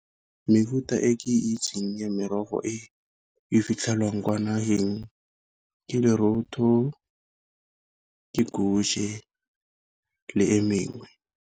Mefuta e ke itseng ya merogo e e fitlhelwang kwa nageng ke le e mengwe.